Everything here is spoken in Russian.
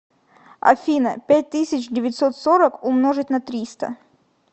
афина пять тысяч девятьсот сорок умножить на триста